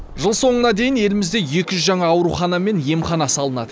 жыл соңына дейін елімізде екі жүз жаңа аурухана мен емхана салынады